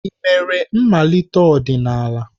Ị mere mmalite ọdịnala?